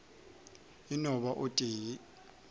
e no ba o tee